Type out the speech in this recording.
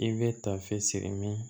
I bɛ ta fɛ siri min